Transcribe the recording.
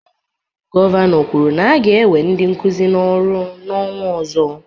Gọvanọ kwuru na-aga ewe ndị Nkụzi n'ọrụ n'ọnwa ozo